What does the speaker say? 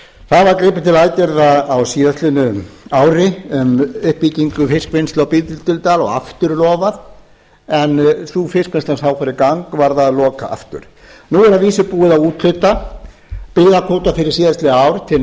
það var gripið til aðgerða á ári um uppbyggingu fiskvinnslu á bíldudal og aftur lofað en sú fiskvinnsla sem þá fór í gang varð að loka aftur nú er að vísu búið að úthluta byggðakvóta fyrir síðastliðið ár til